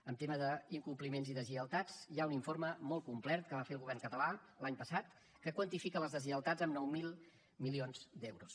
en tema d’incompliments i deslleialtats hi ha un informe molt complet que va fer el govern català l’any passat que quantifica les deslleialtats en nou mil milions d’euros